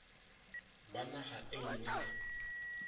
ba naga e nngwe le